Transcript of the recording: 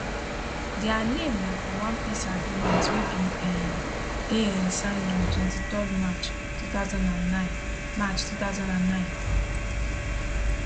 dia name na from one peace agreement wey bin um dey um signed on 23 march 2009 march 2009